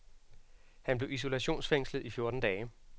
Han blev isolationsfængslet i fjorten dage.